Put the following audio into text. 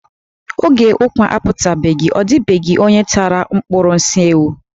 Oge ukwà aputabeghi, ọ dịbeghị onye tara ụkpụrụ nsị ewu.